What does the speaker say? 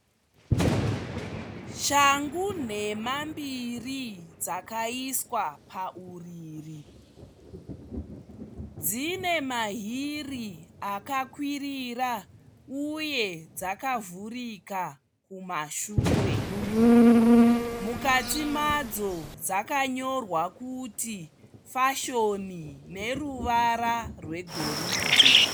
Shangu nhema mbiri dzakaiswa pauriri. Dzine mahiri akakwirira uye dzakavhurika kumashure. Mukati madzo dzakanyorwa kuti "fashion" neruvara rwegoridhe.